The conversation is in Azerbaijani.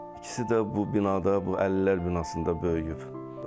İkisi də bu binada, bu 50-lər binasında böyüyüb.